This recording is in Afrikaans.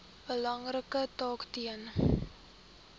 belangrike taak ten